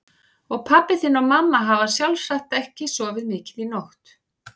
Og pabbi þinn og mamma hafa sjálfsagt ekki sofið mikið í nótt.